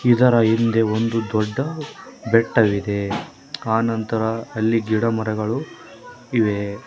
ಇದರ ಹಿಂದೆ ಒಂದು ದೊಡ್ಡ ಬೆಟ್ಟವಿದೆ ಆನಂತರ ಅಲ್ಲಿ ಗಿಡಮರಗಳು ಇವೆ.